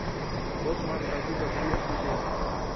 боцман братуха приветствую тебя